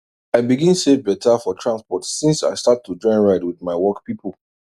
i begin save better for transport since i start to join ride with my work people